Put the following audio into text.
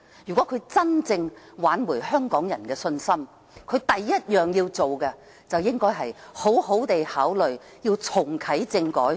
如果她真正想挽回香港人的信心，首要做的便是應好好考慮重啟政改。